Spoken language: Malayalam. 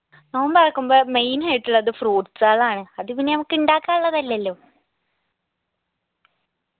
നോമ്പറക്കുമ്പോ main ആയിട്ടുള്ളത് fruits കളാണ് അത് പിന്നെ നമക്ക് ഇണ്ടാക്കാനുള്ളതല്ലല്ലോ